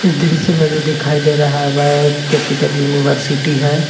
इस दृश्य में जो दिखाई दे रहा है वह एक कैपिटल यूनिवर्सिटी है।